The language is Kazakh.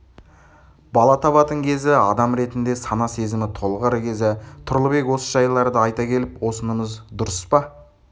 бала табатын кезі адам ретінде сана-сезімі толығар кезі тұрлыбек осы жайларды айта келіп осынымыз дұрыс па